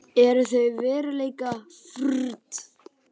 Eru þau veruleikafirrt?